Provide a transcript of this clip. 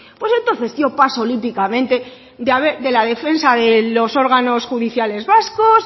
pues mira pues entonces yo paso olímpicamente de la defensa de los órganos judiciales vascos